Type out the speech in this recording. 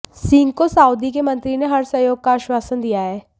सिंह को सउदी के मंत्री ने हर सहयोग का आश्वासन दिया है